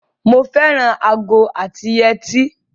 Mo fẹ́ràn ago àti yetí.